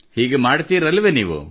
ಹೀಗೆ ಮಾಡುತ್ತೀರಲ್ಲವೇ ನೀವು